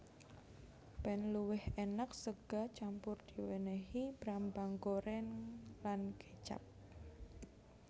Ben luwih enak sega campur diwenehi brambang goreng lan kecap